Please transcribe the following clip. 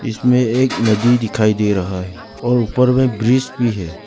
इसमें एक नदी दिखाई दे रहा है और ऊपर में ब्रिज भी है।